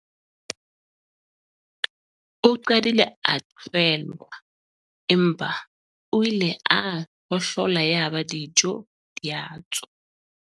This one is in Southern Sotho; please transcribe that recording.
o qadile a qhwelwa empa o ile a hohlola yaba dijo di a tswa